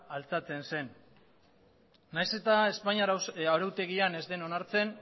altxatzen zen nahiz eta espainiar arautegian ez den onartzen